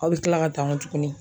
Aw be kila ka taa nkɔ tuguni.